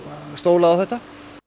stólað á þetta